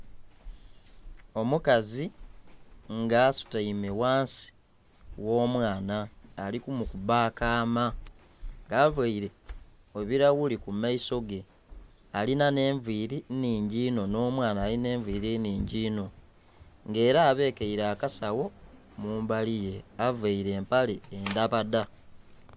Omukazi nga asutaime ghansi gho omwaana ali ku mukuba akaama nga avaire ebilaghuli ku maiso ge alinha enviri nnhingi inho omwaana alinha enviri nnhingi inho nga era abekeire akasagho mumbalighe avaire empale endabadha.